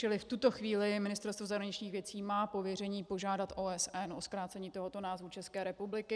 Čili v tuto chvíli Ministerstvo zahraničních věcí má pověření požádat OSN o zkrácení tohoto názvu České republiky.